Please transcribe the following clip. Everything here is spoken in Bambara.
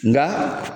Nka